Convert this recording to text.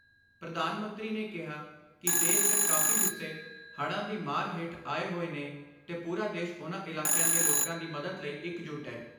ਪ੍ਰਧਾਨ ਮੰਤਰੀ ਨੇ ਕਿਹਾ ਕਿ ਦੇਸ਼ ਦੇ ਕਾਫੀ ਹਿੱਸੇ ਹੜ੍ਹਾਂ ਦੀ ਮਾਰ ਹੇਠ ਆਏ ਹੋਏ ਨੇ ਤੇ ਪੂਰਾ ਦੇਸ਼ ਉਨ੍ਹਾਂ ਇਲਾਕਿਆਂ ਦੇ ਲੋਕਾਂ ਦੀ ਮਦਦ ਲਈ ਇੱਕ ਜੁੱਟ ਏ।